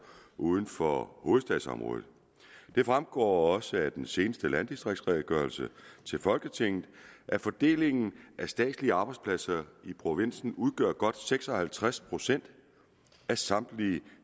uden for hovedstadsområdet det fremgår også af den seneste landdistriktsredegørelse til folketinget at i fordelingen af statslige arbejdspladser i provinsen godt seks og halvtreds procent af samtlige